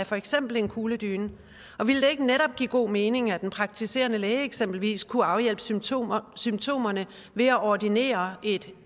for eksempel en kugledyne ville det ikke netop giver god mening at den praktiserende læge eksempelvis kunne afhjælpe symptomerne symptomerne ved at ordinere en